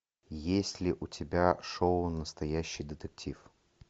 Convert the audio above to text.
есть ли у тебя шоу настоящий детектив